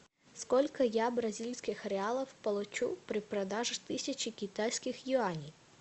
сколько я бразильских реалов получу при продаже тысячи китайских юаней